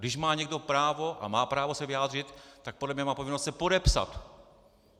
Když má někdo právo a má právo se vyjádřit, tak podle mě má povinnost se podepsat.